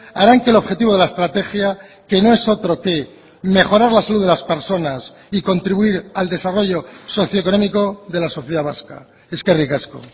harán que el objetivo de la estrategia que no es otro que mejorar la salud de las personas y contribuir al desarrollo socioeconómico de la sociedad vasca eskerrik asko